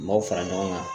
N m'aw fara ɲɔgɔn kan